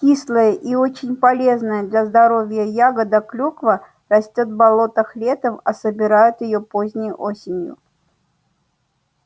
кислая и очень полезная для здоровья ягода клюква растёт в болотах летом а собирают её поздней осенью